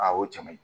A ye o cɛ ɲuman ye